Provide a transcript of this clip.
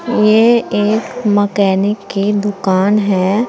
ये एक मैकेनिक की दुकान है।